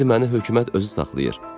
İndi məni hökumət özü saxlayır.